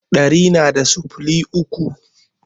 Ɗari na da sifili uku